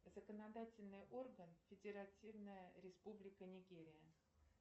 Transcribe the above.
законодательный орган федеративная республика нигерия